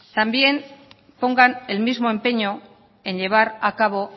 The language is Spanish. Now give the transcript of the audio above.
también pongan el mismo empeño en llevar a cabo